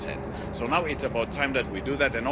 10. So now it's about time that we do that.